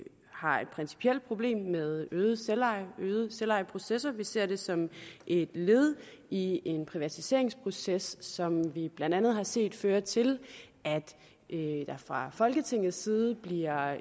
har et principielt problem med øget selveje og selvejeprocesser vi ser det som et led i en privatiseringsproces som vi blandt andet har set føre til at der fra folketingets side bliver